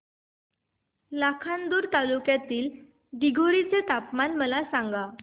लाखांदूर तालुक्यातील दिघोरी चे तापमान मला सांगा